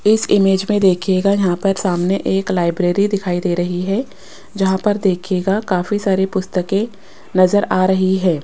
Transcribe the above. इस इमेज में देखिएगा यहां पर सामने एक लाइब्रेरी दिखाई दे रही है जहां पर देखिएगा काफी सारी पुस्तकें नजर आ रही है।